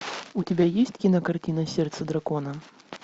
у тебя есть кинокартина сердце дракона